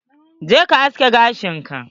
Je kayi aske gashin ka!